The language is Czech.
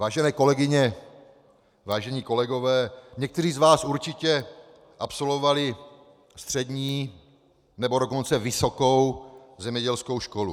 Vážené kolegyně, vážení kolegové, někteří z vás určitě absolvovali střední, nebo dokonce vysokou zemědělskou školu.